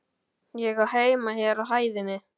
Ég á heima hér á hæðinni.